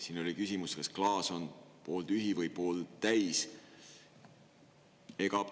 Siin oli küsimus, kas klaas on pooltühi või pooltäis.